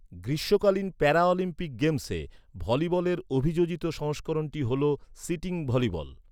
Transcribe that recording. গ্রীষ্মকালীন প্যারালিম্পিক গেমসে, ভলিবলের অভিযোজিত সংস্করণটি হ'ল, সিটিং ভলিবল।